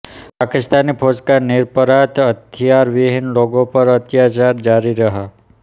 पाकिस्तानी फौज का निरपराध हथियार विहीन लोगों पर अत्याचार जारी रहा